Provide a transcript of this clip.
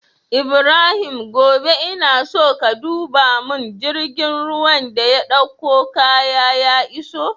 Ibrahim gobe ina so ka duba mun girgin ruwan da ya ɗauko kayan ya iso